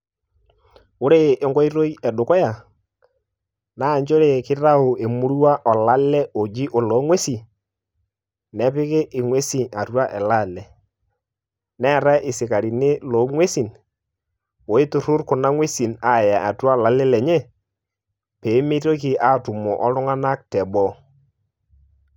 Ore enkoitoi edukuya, na njere kitayu emurua olale oji oloo ng'uesin, nepiki ing'uesin atua ele ale. Neetae isikarini loo ng'uesin, oiturrur kuna ng'uesin aaya atua olale lenye, pemitoki atumo oltung'anak teboo.